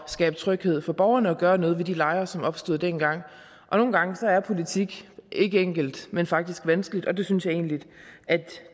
skabe tryghed for borgerne og gøre noget ved de lejre som opstod dengang nogle gange er politik ikke enkelt men faktisk vanskeligt og det synes jeg egentlig